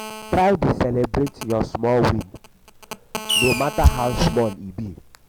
try dey celibrate um yur small win no mata how um small e be